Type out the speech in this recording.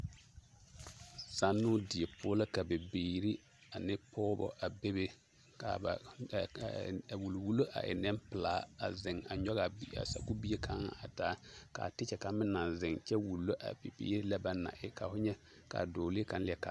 Zannoo die poɔ la ka bibiiri ane pɔgebɔ bebe k'a ba wuliwulo a e nempelaa a zeŋ a nyɔge a sakubie kaŋa a taa k'a tekyɛ kaŋ meŋ naŋ zeŋ kyɛ wulo a bibiiri lɛ banaŋ na e, ka ho nyɛ k'a dɔɔlee kaŋ leɛ ka